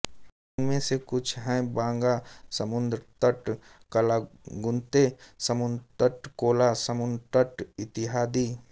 उन्मे से कुछ हैं बागा समुद्रतट कलांगुते समुद्रतट कोला समुद्रतट इतियादी